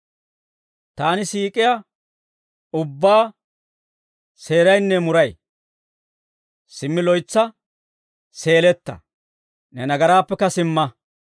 Taani siik'iyaa ubbaa seeraynne muray; simmi loytsa seeletta; ne nagaraappekka simma.